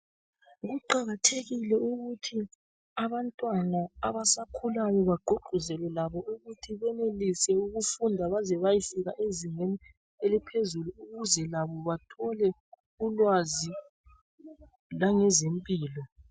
Kuqakathekile ukuthi abantwana abasakhulayo bagqugquzele labo ukuthi benelise ukufunda baze bayefika ezingeni eliphezulu ukuze labo bathole ulwazi langezempilo.